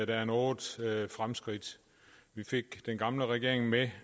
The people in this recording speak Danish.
der er nogle fremskridt vi fik den gamle regering med